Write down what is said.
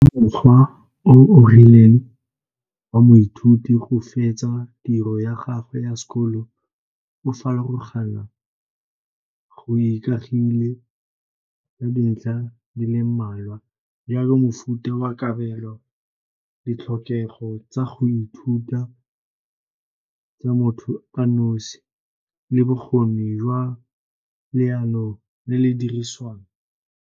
Mokgwa o o rileng wa moithuti go fetsa tiro ya gagwe ya sekolo o go ikagile le dintlha di le mmalwa, jalo mofuta wa kabelo, ditlhokego tsa go ithuta tsa motho a nosi le bokgoni jwa leano le le dirisiwang.